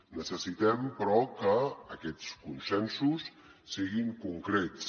necessitem però que aquests consensos siguin concrets